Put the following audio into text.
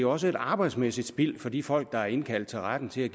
også et arbejdsmæssigt spild for de folk der er indkaldt til retten til